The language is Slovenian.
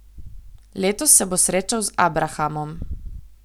Letos se bo srečal z abrahamom.